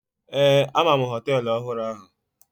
Ee, ama m hoteelu ọhụrụ ahụ.